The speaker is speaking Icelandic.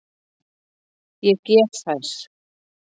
Ég gef þær.